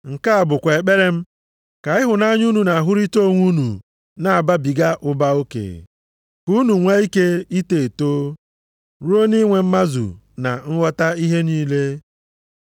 Nke a bụkwa ekpere m, ka ịhụnanya unu na-ahụrịta onwe unu na-ababiga ụba oke. Ka unu nwee ike ito eto, ruo nʼinwe mmazu na nghọta ihe niile.